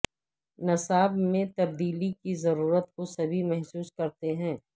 نصاب میں تبدیلی کی ضرورت کو سبھی محسوس کرتے ہیں